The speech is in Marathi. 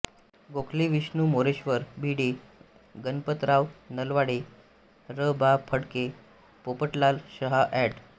गोखले विष्णू मोरेश्वर भिडे गणपतराव नलावडे र बा फडके पोपटलाल शहा एड